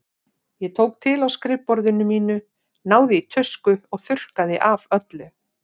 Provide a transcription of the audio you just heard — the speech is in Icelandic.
Ég tók til á skrifborðinu mínu, náði í tusku og þurrkaði af öllu.